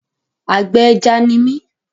Àgbẹ̀ ẹja ni mí.